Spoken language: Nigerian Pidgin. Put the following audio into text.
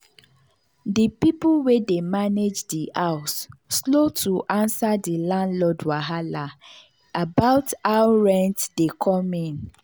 the people wey dey manage the house slow to answer the landlord wahala about how rent dey come in.